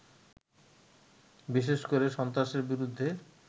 বিশেষ করে সন্ত্রাসের বিরুদ্ধে